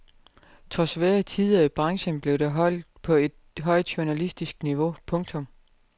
Trods svære tider i branchen blev det holdt på et højt journalistisk niveau. punktum